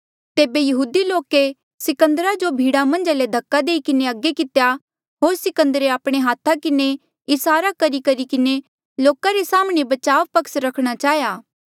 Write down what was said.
तेबे यहूदी लोके सिकंदरा जो भीड़ा मन्झा ले धक्का देई किन्हें अगे कितेया होर सिकंदरे आपणे हाथा किन्हें इसारा करीकरी किन्हें लोका रे साम्हणें बचाव पक्ष रखणा चाहेया